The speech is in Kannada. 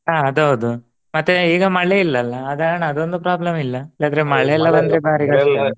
ಹ ಅದು ಹೌದು ಮತ್ತೆ ಈಗ ಮಳೆ ಇಲ್ಲಲಲಾ ಅದೊಂದು problem ಇಲ್ಲ ಇಲ್ಲದ್ರೆ .